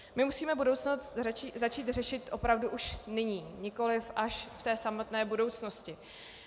My musíme budoucnost začít řešit opravdu už nyní, nikoliv až v té samotné budoucnosti.